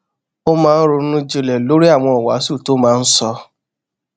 ó máa ń ronú jinlè lórí àwọn ìwàásù tó máa ń sọ